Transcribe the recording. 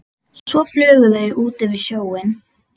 Svo flugu þau út yfir sjóinn.